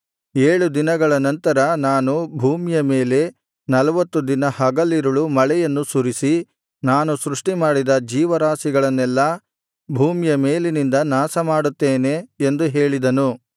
ಏಳು ದಿನಗಳ ನಂತರ ನಾನು ಭೂಮಿಯ ಮೇಲೆ ನಲ್ವತ್ತು ದಿನ ಹಗಲಿರುಳು ಮಳೆಯನ್ನು ಸುರಿಸಿ ನಾನು ಸೃಷ್ಟಿಮಾಡಿದ ಜೀವರಾಶಿಗಳನ್ನೆಲ್ಲಾ ಭೂಮಿಯ ಮೇಲಿನಿಂದ ನಾಶಮಾಡುತ್ತೇನೆ ಎಂದು ಹೇಳಿದನು